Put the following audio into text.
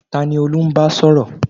Tani Olú ń bá sọ̀rọ̀?